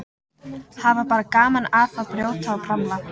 Hafa bara gaman af að brjóta og bramla.